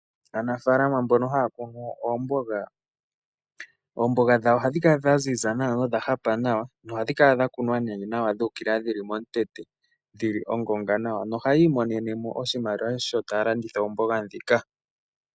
Aanafalama mbono haya kunu oomboga, oomboga dhawo ohadhi kala dhaziza nawa, nodha hapa nawa, nohadhi kala dha kunwa nawa dhili momutete, dhili ongonga nawa, nohayii monene mo oshimaliwa, sho taya landitha oomboga ndhoka.